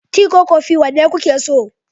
Tea ko kofi, wanda kuke so?